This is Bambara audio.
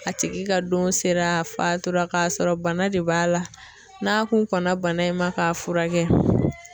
A tigi ka don sera a fatura k'a sɔrɔ bana de b'a la, n'a kun kɔnna bana in ma k'a furakɛ